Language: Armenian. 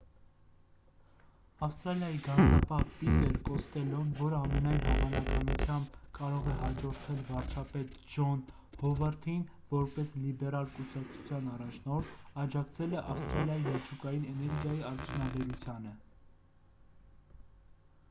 ավստրալիայի գանձապահ պիտեր կոստելլոն որը ամենայն հավանականությամբ կարող է հաջորդել վարչապետ ջոն հովարդին որպես լիբերալ կուսակցության առաջնորդ աջակցել է ավստրալիայի միջուկային էներգիայի արդյունաբերությանը